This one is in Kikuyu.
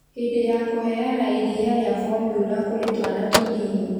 hĩndĩ ya kũheana iria rĩa bomura kũrĩ twana tũnini.